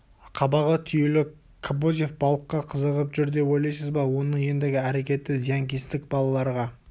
қабағы түюлі кобозев балыққа қызығып жүр деп ойлайсыз ба оның ендігі әрекеті зиянкестік балаларға